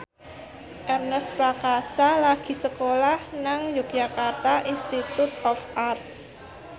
Ernest Prakasa lagi sekolah nang Yogyakarta Institute of Art